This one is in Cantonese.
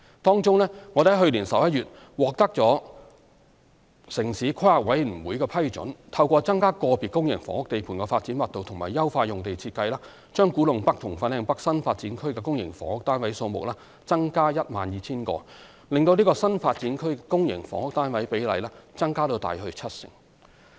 當中，我們於去年11月獲得城市規劃委員會批准，透過增加個別公營房屋地盤的發展密度及優化用地設計，把古洞北和粉嶺北新發展區的公營房屋單位數目增加 12,000 個，令該新發展區公營房屋單位比例增至約七成。